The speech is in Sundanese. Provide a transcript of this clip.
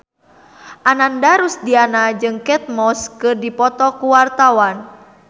Ananda Rusdiana jeung Kate Moss keur dipoto ku wartawan